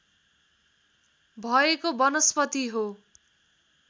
भएको वनस्पति हो